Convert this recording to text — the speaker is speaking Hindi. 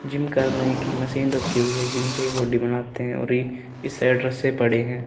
जिम करने की मशीन रखी हुई है जिनसे ये बॉडी बनाते है और एक से बड़े हैं।